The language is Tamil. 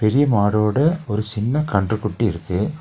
பெரிய மாடோட ஒரு சின்ன கன்றுக்குட்டி இருக்கு.